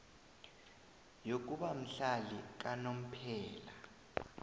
yokuba mhlali kanomphela